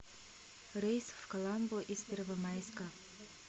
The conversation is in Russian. рейс в каламбу из первомайска